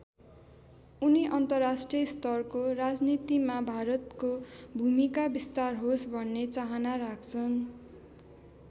उनी अन्तर्राष्ट्रिय स्तरको राजनीतिमा भारतको भूमिका विस्तार होस् भन्ने चाहना राख्छन्।